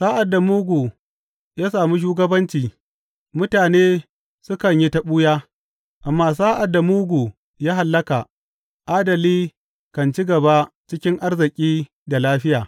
Sa’ad da mugu ya samu shugabanci, mutane sukan yi ta ɓuya; amma sa’ad da mugu ya hallaka, adali kan ci gaba cikin arziki da lafiya.